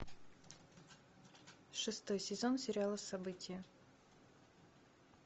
шестой сезон сериала события